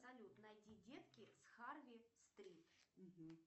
салют найди детки с харви стрит